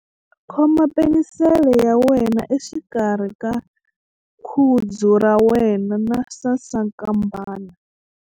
Khoma penisele ya wena exikarhi ka khudzu ra wena na sasankambana.ingana na ya mina.